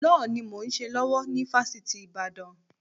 Lọ́ọ̀ ni mò ń ṣe lọ́wọ́ ni Fásitì Ìbàdàn.